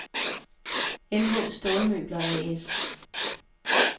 MH Stålmøbler A/S